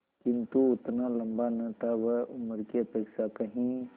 किंतु उतना लंबा न था वह उम्र की अपेक्षा कहीं